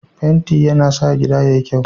Fenti yana sa gida yayi kyau.